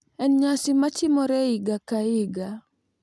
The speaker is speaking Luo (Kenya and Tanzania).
En nyasi matimore higa ka higa.